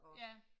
Ja